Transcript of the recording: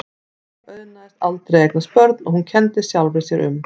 Þeim auðnaðist aldrei að eignast börn og hún kenndi sjálfri sér um.